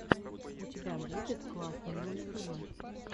у тебя будет классные мультфильмы